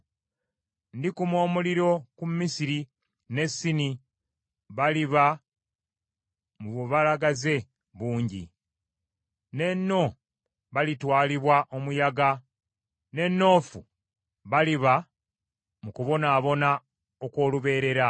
Ndikuma omuliro ku Misiri, ne Sini baliba mu bubalagaze bungi, ne No balitwalibwa omuyaga, ne Noofu baliba mu kubonaabona okw’olubeerera.